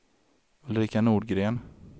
Ulrika Nordgren